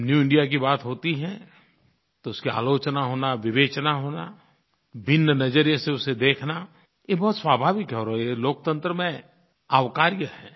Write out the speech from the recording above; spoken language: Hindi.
जब न्यू इंडिया की बात होती है तो उसकी आलोचना होना विवेचना होना भिन्न नज़रिये से उसे देखना ये बहुत स्वाभाविक है और ये लोकतंत्र में अवकार्य है